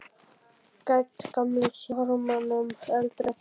Gædd gamla sjarmanum, eldri en þá.